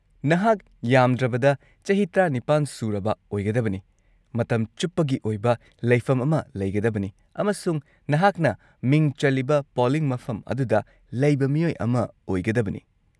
-ꯅꯍꯥꯛ ꯌꯥꯝꯗ꯭ꯔꯕꯗ ꯆꯍꯤ ꯱꯸ ꯁꯨꯔꯕ ꯑꯣꯏꯒꯗꯕꯅꯤ, ꯃꯇꯝ ꯆꯨꯞꯄꯒꯤ ꯑꯣꯏꯕ ꯂꯩꯐꯝ ꯑꯃ ꯂꯩꯒꯗꯕꯅꯤ, ꯑꯃꯁꯨꯡ ꯅꯍꯥꯛꯅ ꯃꯤꯡ ꯆꯜꯂꯤꯕ ꯄꯣꯂꯤꯡ ꯃꯐꯝ ꯑꯗꯨꯗ ꯂꯩꯕ ꯃꯤꯑꯣꯏ ꯑꯃ ꯑꯣꯏꯒꯗꯕꯅꯤ ꯫